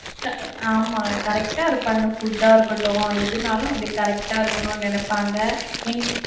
ஆமா correct ஆ இருப்பாங்க. food ஆ இருக்கட்டும், எதுனாலும் correct ஆ இருக்கணும்னு நெனைப்பாங்க. எங்க~